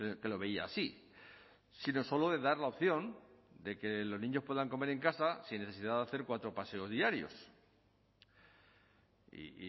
que lo veía así sino solo de dar la opción de que los niños puedan comer en casa sin necesidad de hacer cuatro paseo diarios y